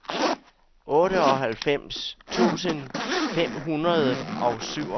otteoghalvfems tusind fem hundrede og syvogfirs